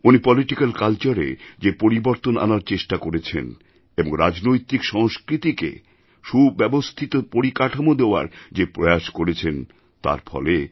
উনি পলিটিক্যাল Cultureএ যে পরিবর্তন আনার চেষ্টা করেছেন এবং রাজনৈতিক সংস্কৃতিকে সুব্যবস্থিত পরিকাঠামো দেওয়ার যে প্রয়াস করেছেন তার ফলে